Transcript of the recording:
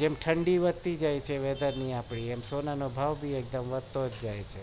જેમ ઠંડી વધતી જાય છે એમ સોના નો ભાવ પણ વધતો જાય છે